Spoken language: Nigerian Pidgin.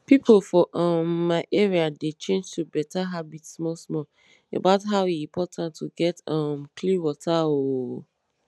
pipo for um my area dey change to better habit small small about how e important to get um clean water ooo